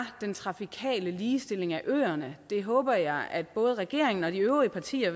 den trafikale ligestilling øerne det håber jeg at både regeringen og de øvrige partier